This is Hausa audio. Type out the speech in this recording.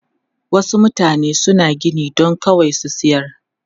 Wasu mutane suna gini don kawai su sayar.